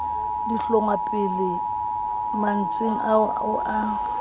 dihlongwapele mantsweng ao o a